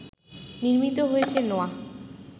নির্মিত হয়েছে নোয়াহ